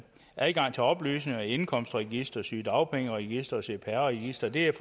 adgang til oplysninger i indkomstregisteret sygedagpengeregisteret cpr registeret